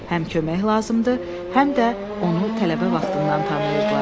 Həm kömək lazımdır, həm də onu tələbə vaxtından tanıyırdılar.